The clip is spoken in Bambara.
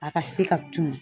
A ka se ka tunun